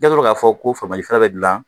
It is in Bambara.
I kɛtola k'a fɔ ko fɛɛrɛ bɛ dilan